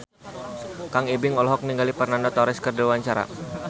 Kang Ibing olohok ningali Fernando Torres keur diwawancara